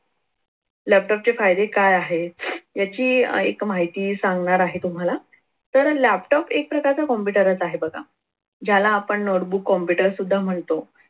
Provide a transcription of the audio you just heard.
laptop चे फायदे काय आहे याची एक माहिती सांगणार आहे तुम्हाला तर laptop एक प्रकारचा computer च हे बघा ज्याला आपण notebook computer सुद्धा म्हणतो.